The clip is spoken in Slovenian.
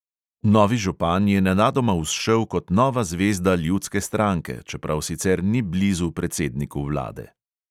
Novi župan je nenadoma vzšel kot nova zvezda ljudske stranke, čeprav sicer ni blizu predsedniku vlade.